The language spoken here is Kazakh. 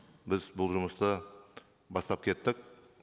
біз бұл жұмысты бастап кеттік